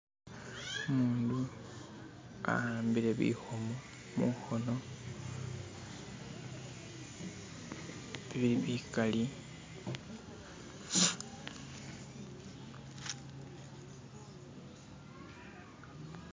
Umundu awambile bikhomo mukhono bili bikali